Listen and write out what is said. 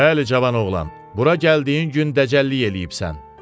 Bəli, cavan oğlan, bura gəldiyin gün dəcəllik eləyibsən.